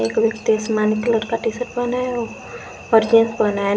एक व्यक्ति आसमानी कलर का टी शर्ट पहना है और जींस पहना है।